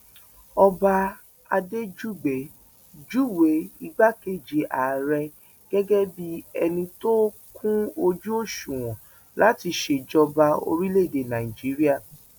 ọba adéjúgbẹ júwe igbákejì ààrẹ gẹgẹ bíi ẹni tó kún ojú òṣùwọn láti ṣèjọba orílẹèdè nàíjíríà